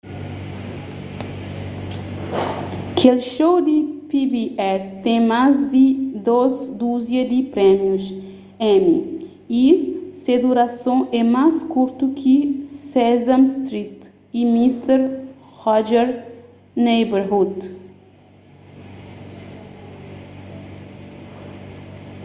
kel show di pbs ten más di dôs duzia di prémius emmy y se durason é más kurtu di ki sesame street y mister rogers' neighborhood